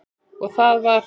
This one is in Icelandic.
Og það var